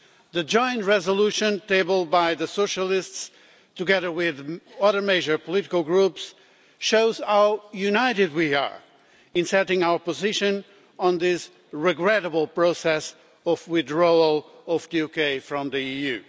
The joint resolution tabled by the Socialists, together with other major political groups, shows how united we are in asserting our position on this regrettable process of withdrawal of the UK from the EU.